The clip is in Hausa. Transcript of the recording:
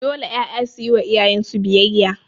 Dole 'ƴaƴa suyi wa iyayen su biyayya